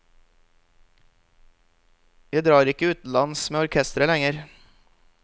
Jeg drar ikke utenlands med orkesteret lenger.